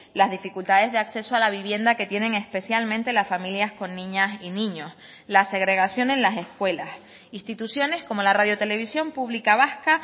las dificultades de acceso a la vivienda que tienen especialmente las familias con niñas y niños la segregación en las escuelas instituciones como la radio televisión pública vasca